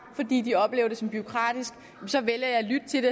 fordi de oplever det som bureaukratisk så vælger jeg at lytte til